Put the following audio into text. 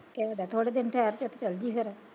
ਕਹਿ ਦੇ ਥੋੜੇ ਦਿਨ ਠਹਿਰ ਕੇ ਤੇ ਚਲਜੀ ਫਿਰ।